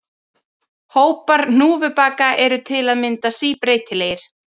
Hópar hnúfubaka eru til að mynda síbreytilegir.